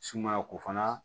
Sumaya ko fana